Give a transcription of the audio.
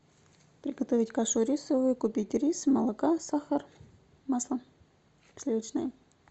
приготовить кашу рисовую купить рис молока сахар масло сливочное